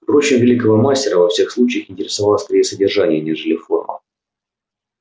впрочем великого мастера во всех случаях интересовало скорее содержание нежели форма